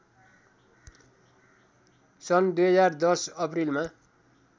सन् २०१० अप्रिलमा